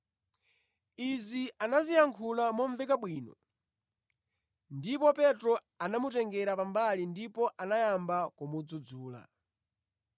Izi anaziyankhula momveka bwino, ndipo Petro anamutengera pambali ndipo anayamba kumudzudzula.